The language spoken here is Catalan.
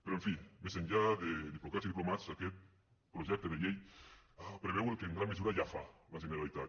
però en fi més enllà de diplocats i diplomats aquest projecte de llei preveu el que en gran mesura ja fa la generalitat